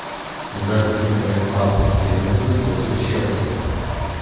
запись игры апл ливерпуль против челси